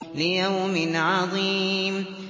لِيَوْمٍ عَظِيمٍ